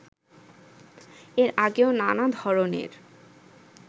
এর আগেও নানা ধরণের